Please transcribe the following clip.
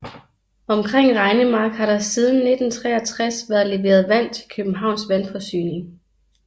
Omkring Regnemark har der siden 1963 været leveret vand til Københavns Vandforsyning